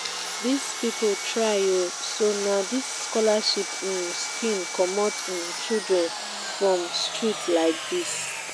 dis people try oo so na dis scholarship um scheme comot um children um from street like dis